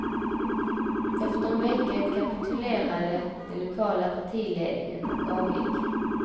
Efter en vecka kapitulerade den lokala partiledningen och avgick.